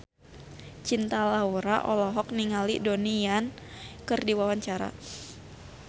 Cinta Laura olohok ningali Donnie Yan keur diwawancara